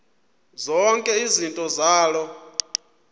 zonke izinto zaloo